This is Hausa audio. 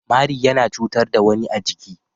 Mari yana cutar da wani a jiki.